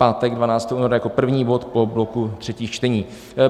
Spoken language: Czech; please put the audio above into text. Pátek 12. února jako první bod po bloku třetích čtení.